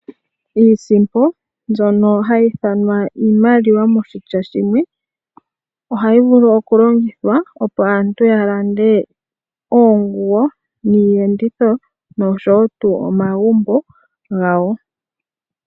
Iisimpo mbyono hayi ithanwa iimaliwa moshitya shimwe ohayi vulu okulongithwa opo aantu ya lande oonguwo, iiyenditho nosho tuu omagumbo gawo.